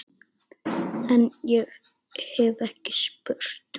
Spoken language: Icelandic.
En- ég hef ekki spurt.